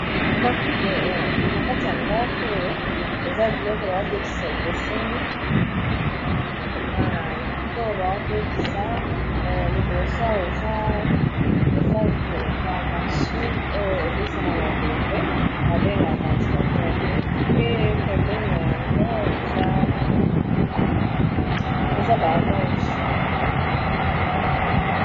Na kati ya ndako oyo eza biloko baotekisa ekeseni biloko baotekisa liboso awa eza ba mashine oyo epesaka mopepe ba bengaka ventilateur pe pembeni nango eza ba allonge